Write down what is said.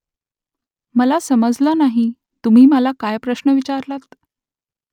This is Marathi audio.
मला समजलं नाही . तुम्ही मला काय प्रश्न विचारलात ?